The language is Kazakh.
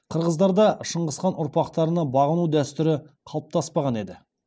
қырғыздарда шыңғысхан ұрпақтарына бағыну дәстүрі қалыптаспаған еді